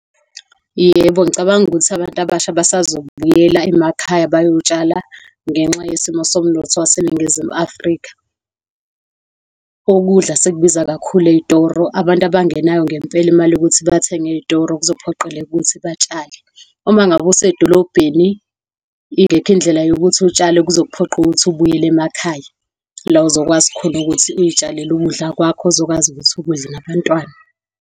Yebo, ngicabanga ukuthi abantu abasha bazobuyela emakhaya bayotshala ngenxa yesimo somnotho waseNingizimu Afrika. Ukudla sekubiza kakhulu ey'toro. Abantu abangenayo ngempela imali yokuthi bathenga ey'toro kuzophoqeleka ukuthi batshale. Uma ngabe usedolobheni, ingekho indlela yokuthi utshale, kuzokuphoqa ukuthi ubuyele emakhaya, la uzokwazi khona ukuthi uzitshalele ukudla kwakho, ozokwazi ukuthi ukudla nabantwana.